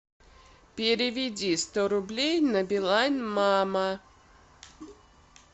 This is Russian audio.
переведи сто рублей на билайн мама